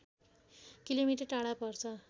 kilometre टाढा पर्छ